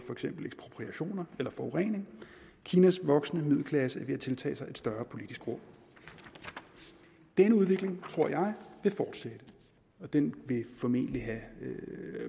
eksempel ekspropriationer eller forurening kinas voksende middelklasse er ved at tiltage sig et større politisk rum denne udvikling tror jeg vil fortsætte og den vil formentlig have